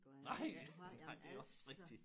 Nej nej det også rigtigt